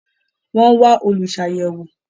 Wọ́n wá “Olùsàyẹ̀wò”.